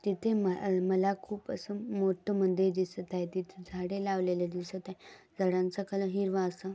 तिथे म मला खूप अस मोठ मंदिर दिसत आहे. तिथे झाडे लावलेल्या दिसत आहे. झाडांच्या कलर हिरवा असा --